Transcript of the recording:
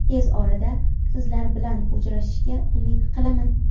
Tez orada sizlar bilan uchrashishga umid qilaman.